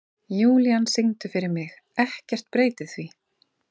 Júlían, syngdu fyrir mig „Ekkert breytir því“.